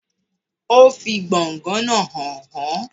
O fi gbọ̀ngàn náà hàn án.